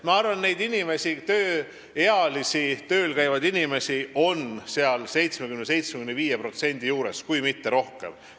Ma arvan, et tööealisi, tööl käivaid inimesi, kes sellest reformist võidavad, on 70–75%, kui mitte rohkem.